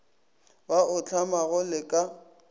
ba o hlamago le ka